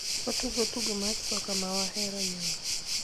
watugo tugo mar soka mawahero e nyong'